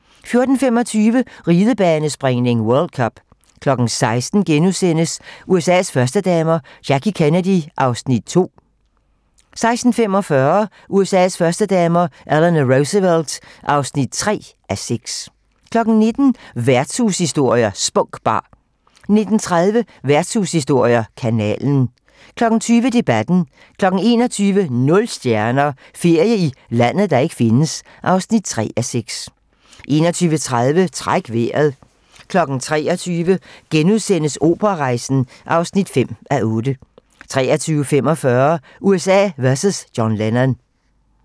14:25: Ridebanespringning: World cup 16:00: USA's førstedamer - Jackie Kennedy (2:6)* 16:45: USA's førstedamer - Eleanor Roosevelt (3:6)* 19:00: Værtshushistorier: Spunk Bar 19:30: Værtshushistorier: Kanalen 20:00: Debatten 21:00: Nul stjerner - Ferie i landet, der ikke findes (3:6) 21:30: Træk vejret 23:00: Operarejsen (5:8)* 23:45: USA vs John Lennon